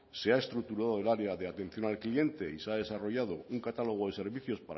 se ha estructurado el área de atención al cliente y se ha desarrollado un catálogo de servicios